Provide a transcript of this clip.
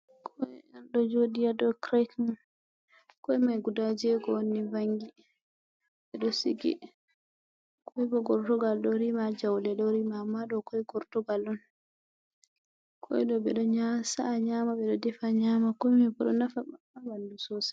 Ɗoo joɗii haɗow kiret mai, ƙoimai guda jego onni vangi ɓedo sigi koibo gortugal ɗo rima jaule ɗo rima, amma ɗo ƙoi gortugal on, koi ɗoo ɓe ɗoo nya sa'a nyama be do defa nyama, koi ma boɗo nafa ɓandu sosai.